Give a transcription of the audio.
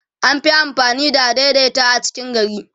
an Fi amfani da adaidaita a cikin gari